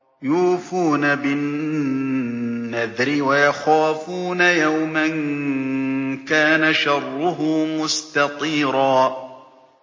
يُوفُونَ بِالنَّذْرِ وَيَخَافُونَ يَوْمًا كَانَ شَرُّهُ مُسْتَطِيرًا